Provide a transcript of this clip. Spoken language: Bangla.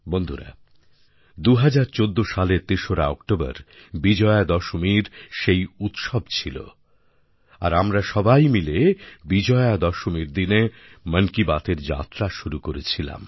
বন্ধুরা ২০১৪ সালের তেসরা অক্টোবর বিজয়া দশমীর সেই উৎসব ছিল আর আমরা সবাই মিলে বিজয়া দশমীর দিনে মন কি বাতএর যাত্রা শুরু করেছিলাম